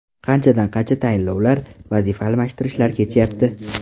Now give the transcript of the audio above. Qanchadan qancha tayinlovlar, vazifa almashtirishlar kechyapti.